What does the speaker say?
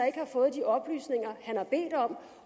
ikke har fået de oplysninger han har bedt om